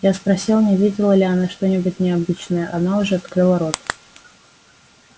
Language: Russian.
я спросил не видела ли она что-нибудь необычное она уже открыла рот